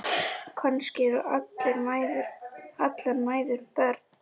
Kannski eru allar mæður börn.